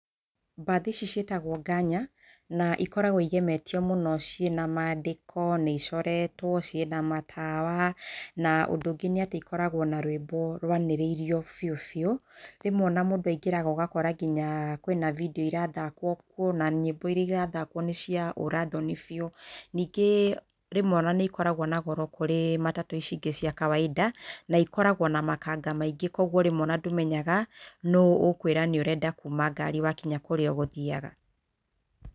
Mbathi ici ciĩtagwo nganya. Na ikoragwo igemetio mũno ciĩna mandĩko, nĩ icoretwo, ciĩna matawa, na ũndũ ũngĩ nĩ atĩ ikoragwo na rũĩmbo rũanĩrĩirio biũ biũ. Rĩmwe ona mũndũ aingĩraga ũgakora kwĩna bindio irathakwo kuo, na nyĩmbo iria irathakwo kuo nĩ cia ũra thoni biũ. Ningĩ rĩmwe nĩ ikoragwo na goro kũrĩ matatũ ici ingĩ cia kawainda, na ikoragwo na makanga maingĩ koguo rĩmwe ndũmenyaha nũũ ũkwĩra nĩ ũrenda kuuma ngari wakinya kũrĩa ũgũthiaga.